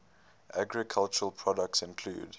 agricultural products include